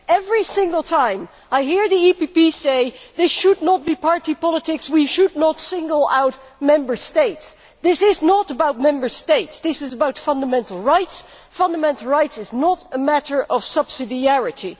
Every single time, I have heard the EPP say that this should not be party politics and that we should not single out Member States. This is not about Member States, this is about fundamental rights. Fundamental rights is not a matter of subsidiarity.